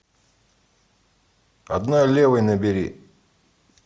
одной левой набери